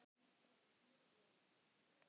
Lömuð af skelfingu þorði ég ekki annað en að hlýða.